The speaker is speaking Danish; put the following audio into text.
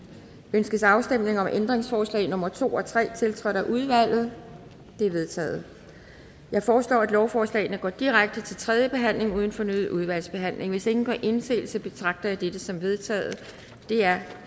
ønskes afstemning om ændringsforslag nummer to og tre tiltrådt af udvalget det er vedtaget jeg foreslår at lovforslagene går direkte til tredje behandling uden fornyet udvalgsbehandling hvis ingen gør indsigelse betragter jeg dette som vedtaget det er